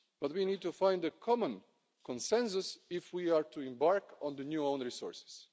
But we need to find a common consensus if we are to embark on the new own resources.